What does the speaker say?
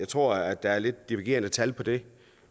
tror at der er lidt divergerende tal for det